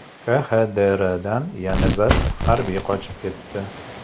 KXDRdan yana bir harbiy qochib ketdi.